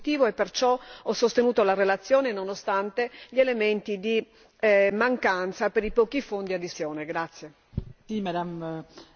Tuttavia, lo strumento in sé è molto positivo e perciò ho sostenuto la relazione, nonostante gli elementi di mancanza per i pochi fondi a disposizione.